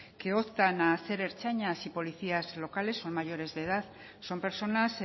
que optan a ser ertzainas y policías locales son mayores de edad son personas